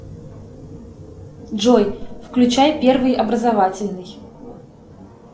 джой включай первый образовательный